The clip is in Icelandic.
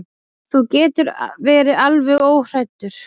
Þú getur verið alveg óhræddur.